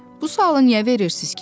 Bu sualı niyə verirsiz ki?